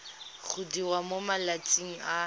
go diriwa mo malatsing a